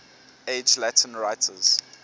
age latin writers